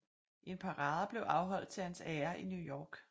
En parade blev afholdt til hans ære i New York